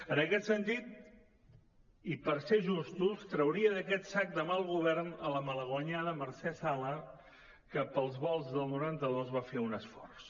en aquest sentit i per ser justos trauria d’aquest sac de mal govern la malaguanyada mercè sala que pels volts del noranta dos va fer un esforç